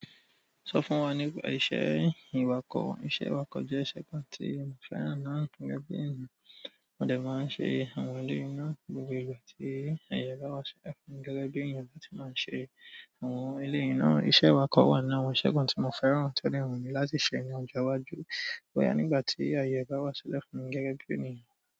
Sọ fún wa nípa iṣẹ́ ìwakọ̀. Iṣẹ́ awakọ̀ jẹ́ iṣẹ́ kan tí mo fẹ́ràn nínú gẹ́gẹ́ bí ènìyàn. Mo dẹ̀ máa ń ṣe àwọn elé i ná ni gbogbo ìgbà tí àyè bá wá sílẹ̀ fún mi gẹ́gẹ́ bí ènìyàn bá ti máa ń ṣe àwọn elé i ná. Iṣẹ́ awakọ̀ wà nínú àwọn iṣẹ́ kan tí mo fẹ́ràn tó ní wu mí láti ṣe ní ọjọ́ iwájú. Ó yá nígbà tí àyè bá wá sílẹ̀ fún mi gẹ́gẹ́ bí ènìyàn.